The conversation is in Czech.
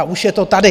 A už je to tady!